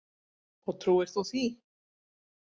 Og trúir þú því?